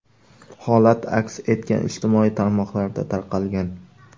Holat aks etgan ijtimoiy tarmoqlarda tarqalgan.